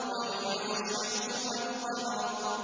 وَجُمِعَ الشَّمْسُ وَالْقَمَرُ